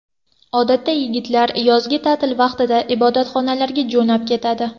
Odatda yigitlar yozgi ta’til vaqtida ibodatxonalarga jo‘nab ketadi.